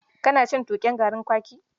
Kana cin tuƙen garin kwaki?